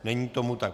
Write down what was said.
Není tomu tak.